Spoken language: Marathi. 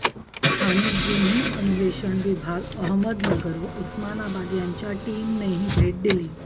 स्थानिक गुन्हे अन्वेषण विभाग अहमदनगर व उस्मानाबाद यांच्या टीमनेही भेट दिली